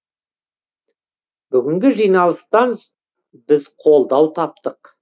бүгінгі жиналыстан біз қолдау таптық